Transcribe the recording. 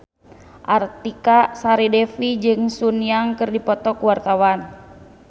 Artika Sari Devi jeung Sun Yang keur dipoto ku wartawan